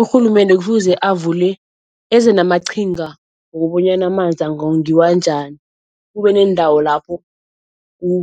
Urhulumende kufuze avule eze namaqhinga wokobanyana amanzi angongiwa njani. Kube neendawo lapho